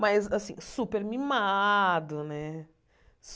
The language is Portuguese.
Mas, assim, super mimado, né?